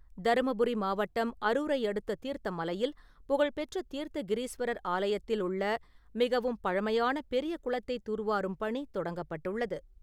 தருமபுரி மாவட்டம் அரூரை அடுத்த தீர்த்தமலையில் புகழ்பெற்ற தீர்த்த கிரீஸ்வரர் ஆலயத்தில் உள்ள மிகவும் பழமையான பெரிய குளத்தை தூர்வாறும் பணி தொடங்கப்பட்டுள்ளது.